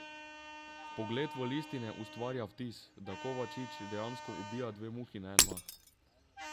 Vpogled v listine ustvarja vtis, da Kovačič dejansko ubija dve muhi na en mah.